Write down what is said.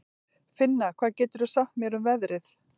Finna, hvað geturðu sagt mér um veðrið?